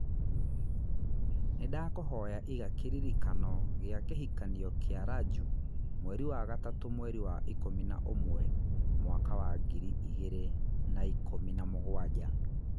Nĩndakũhoya iga kĩririkanio gia kĩhikanio kĩa Raju mweri wa gatatũ mweri wa ikũmi na ũmwe mwaka wa ngiri igĩrĩ na ikũmi na mũgwanja